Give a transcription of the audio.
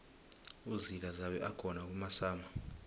uzila zabe akhona kumasama